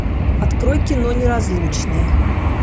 открой кино неразлучные